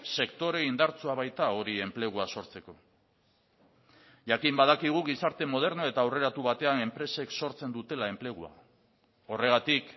sektore indartsua baita hori enplegua sortzeko jakin badakigu gizarte moderno eta aurreratu batean enpresek sortzen dutela enplegua horregatik